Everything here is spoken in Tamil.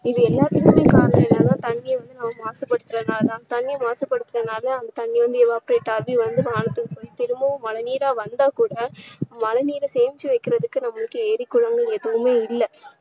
இது எல்லாத்துக்குமே காரணம் என்னன்னா தண்ணீரை வந்து நாம மாசுபடுத்துறதுனால தான். தண்ணீரை மாசு படுத்துறதுனால அந்த தண்ணீர் வந்து evaporate ஆகி வந்து வானத்துக்கு போய் திரும்பவும் மழை நீரா வந்தாக்கூட மழை நீரை சேமிச்சு வைக்கிறதுக்கு நம்மளுக்கு ஏரி, குளங்கள் எதுவுமே இல்ல